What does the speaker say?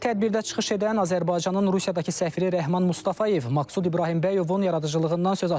Tədbirdə çıxış edən Azərbaycanın Rusiyadakı səfiri Rəhman Mustafayev Maqsud İbrahimbəyovun yaradıcılığından söz açıb.